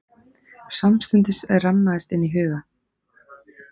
Samstundis rammaðist inn í huga